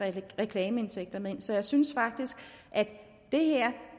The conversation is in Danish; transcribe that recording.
reklameindtægter med ind så jeg synes faktisk at det her